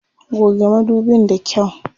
Goge madubin da kyau.